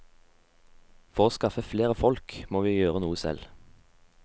For å skaffe flere folk, må vi gjøre noe selv.